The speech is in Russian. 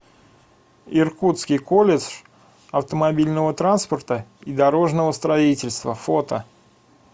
иркутский колледж автомобильного транспорта и дорожного строительства фото